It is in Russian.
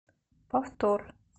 повтор